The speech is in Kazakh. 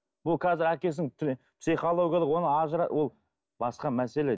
бұл қазір әкесінің психологиялық ол басқа мәселе